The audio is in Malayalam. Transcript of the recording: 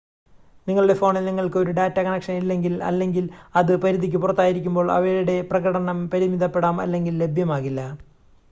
നിങ്ങളുടെ ഫോണിൽ നിങ്ങൾക്ക് ഒരു ഡാറ്റ കണക്ഷൻ ഇല്ലെങ്കിൽ അല്ലെങ്കിൽ അത് പരിധിക്ക് പുറത്തായിരിക്കുമ്പോൾ അവയുടെ പ്രകടനം പരിമിതപ്പെടാം അല്ലെങ്കിൽ ലഭ്യമാകില്ല